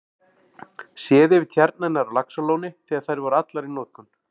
Séð yfir tjarnirnar á Laxalóni þegar þær voru allar í notkun.